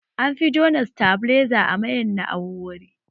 An fi juna sitabiliza a mayan na'urori